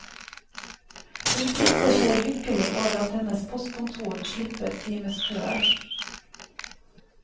Hun priser seg lykkelig over at hennes postkontor slipper timeskøer.